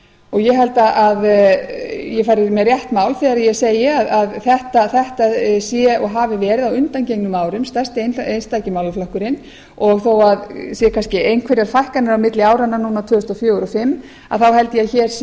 og ég held að ég fari með rétt mál þegar ég segi að þetta sé og hafi leið á undangengnum árum stærsti einstaki málaflokkurinn og þó að séu kannski einhverjar fækkanir á milli áranna tvö þúsund og fjögur og tvö þúsund og fimm þá held ég að hér sé